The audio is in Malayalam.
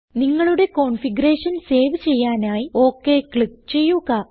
നിങ്ങളുടെ കോൺഫിഗറേഷൻ സേവ് ചെയ്യാനായി ഒക് ക്ലിക്ക് ചെയ്യുക